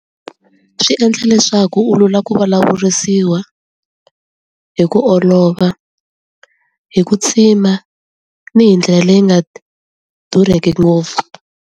Swi endla leswaku u lula ku vulavurisiwa hi ku olova hi ku tsima ni hi ndlela leyi nga durheki ngopfu.